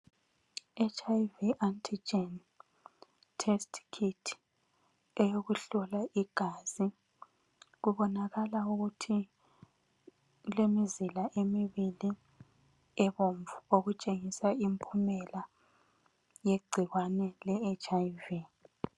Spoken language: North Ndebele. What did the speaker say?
HIV anti germ test kit eyokuhlolwa igazi, kubonakala ukuthi kulemizila emibili ebomvu okutshengisa impumela yegcikwane leHIV.